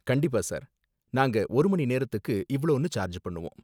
கண்டிப்பா சார், நாங்க ஒரு மணி நேரத்துக்கு இவ்ளோனு சார்ஜ் பண்ணுவோம்.